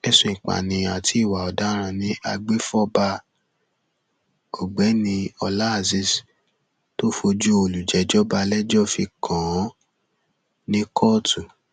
ẹsùn ìpànìyàn àti ìwà ọdaràn ni agbefọba ọgbẹni ọlá azeez tó fojú olùjẹjọ balẹẹjọ fi kàn án ní kóòtù